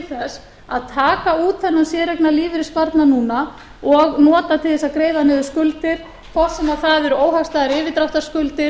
þess að taka út þennan séreignarlífeyrissparnað núna og nota til þess að greiða niður skuldir hvort sem það eru óhagstæðar yfirdráttarskuldir